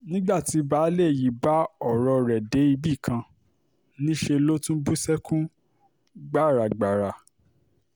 nígbà tí baálé ilé yìí bá ọ̀rọ̀ rẹ̀ débì kan níṣẹ́ ló tún bú sẹ́kún gbàràgàrà